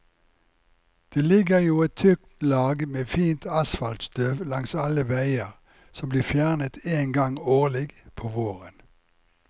Det ligger jo et tykt lag med fint asfaltstøv langs alle veier, som blir fjernet én gang årlig, på våren.